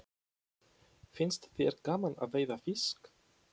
Finnst þér gaman að veiða fisk?